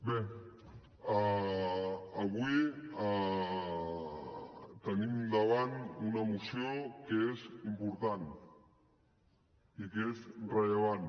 bé avui tenim davant una moció que és important i que és rellevant